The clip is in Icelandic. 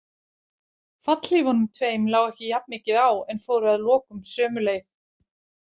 Fallhlífunum tveim lá ekki jafn mikið á en fóru að lokum sömu leið.